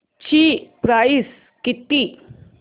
ची प्राइस किती